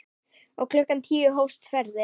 Og klukkan tíu hófst ferðin.